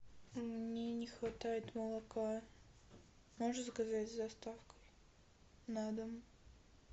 мне не хватает молока можешь заказать с доставкой на дом